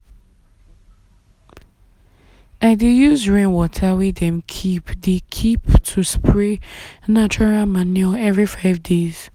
i dey use rainwater wey dem keep dem keep to spray natural manure every five days.